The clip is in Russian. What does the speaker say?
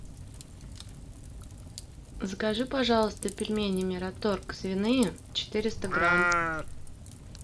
закажи пожалуйста пельмени мираторг свиные четыреста грамм